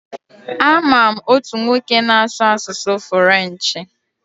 A ma m otu nwoke na-asụ asụsụ furenchi.